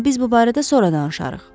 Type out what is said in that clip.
Amma biz bu barədə sonra danışarıq.